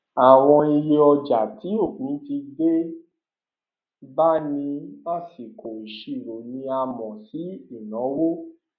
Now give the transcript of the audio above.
àwọn iye ọjà tí òpin ti dé bá ní àsìkò ìṣirò ni a mọ sí ìnáwó